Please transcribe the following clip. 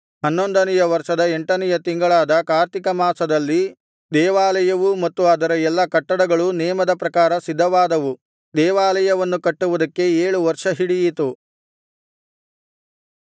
ಹನ್ನೊಂದನೆಯ ವರ್ಷದ ಎಂಟನೆಯ ತಿಂಗಳಾದ ಕಾರ್ತಿಕ ಮಾಸದಲ್ಲಿ ದೇವಾಲಯವೂ ಮತ್ತು ಅದರ ಎಲ್ಲಾ ಕಟ್ಟಡಗಳೂ ನೇಮದ ಪ್ರಕಾರ ಸಿದ್ಧವಾದವು ದೇವಾಲಯವನ್ನು ಕಟ್ಟುವುದಕ್ಕೆ ಏಳು ವರ್ಷ ಹಿಡಿಯಿತು